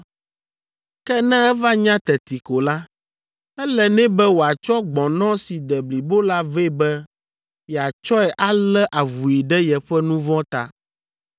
Ke ne eva nya teti ko la, ele nɛ be wòatsɔ gbɔ̃nɔ si de blibo la vɛ be yeatsɔe alé avui ɖe yeƒe nu vɔ̃ ta.